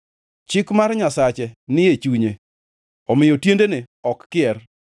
Chik mar Nyasache ni e chunye; omiyo tiendene ok kier.